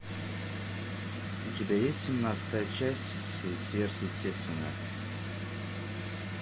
у тебя есть семнадцатая часть сверхъестественное